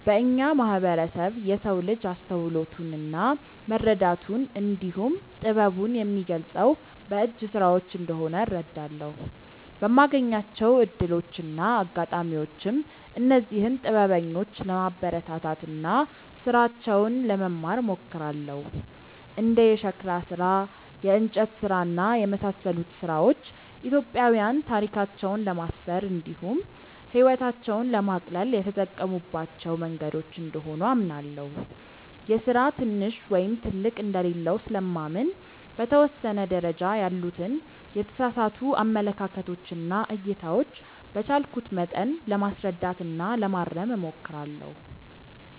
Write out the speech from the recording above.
በእኛ ማህበረሰብ የሰው ልጅ አስተውሎቱን እና መረዳቱን እንዲሁም ጥበቡን የሚገልፀው በእጅ ስራዎች እንደሆነ እረዳለሁ። በማገኛቸው እድሎች እና አጋጣሚዎችም እነዚህን ጥበበኞች ለማበረታታት እና ስራቸውን ለመማር እሞክራለሁ። እንደ የሸክላ ስራ፣ የእንጨት ስራ እና የመሳሰሉት ስራዎች ኢትዮጵያዊያን ታሪካቸውን ለማስፈር እንዲሁም ህይወታቸውን ለማቅለል የተጠቀሙባቸው መንገዶች እንደሆኑ አምናለሁ። የስራ ትንሽ ወይም ትልቅ እንደሌለው ስለማምን በተወሰነ ደረጃ ያሉትን የተሳሳቱ አመለካከቶች እና እይታዎች በቻልኩት መጠን ለማስረዳት እና ለማረም እሞክራለሁ።